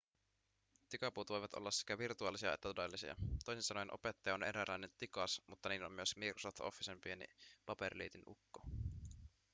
tikapuut voivat olla sekä virtuaalisia että todellisia toisin sanoen opettaja on eräänlainen tikas mutta niin on myös microsoft officen pieni paperiliitinukko